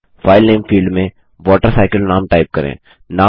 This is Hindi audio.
फाइल नामे फील्ड में वॉटरसाइकिल नाम टाइप करें